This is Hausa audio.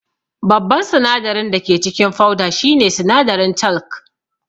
Babban sinadarin dake cikin fauda shine sinadarin talc